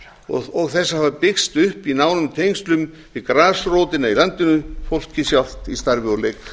og þess að hafa byggst upp í nánum tengslum við grasrótina í landinu fólkið sjálft í starfi og leik